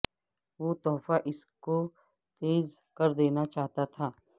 وہ تحفہ اس کو تیز کر دینا چاہتا تھا